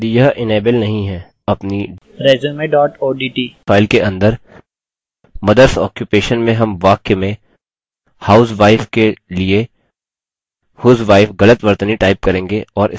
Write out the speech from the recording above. अपनी resume odt file के अंदर mothers occupation में हम वाक्य में housewife के लिए husewife गलत वर्तनी type करेंगे और space दबाएँ